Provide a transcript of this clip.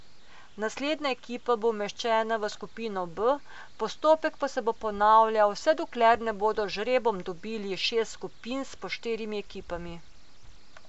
Naslednja ekipa bo umeščena v skupino B, postopek pa se bo ponavljal vse dokler ne bodo z žrebom dobili šest skupin s po štirimi ekipami.